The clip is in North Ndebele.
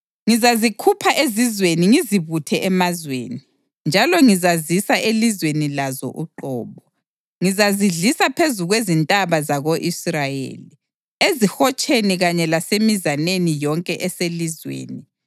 Ngizazikhupha ezizweni ngizibuthe emazweni, njalo ngizazisa elizweni lazo uqobo. Ngizazidlisa phezu kwezintaba zako-Israyeli, ezihotsheni kanye lasemizaneni yonke eselizweni.